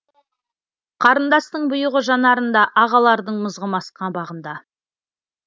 қарындастың бұйығы жанарында ағалардың мызғымас қабағында